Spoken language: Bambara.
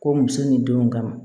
Ko muso ni denw kama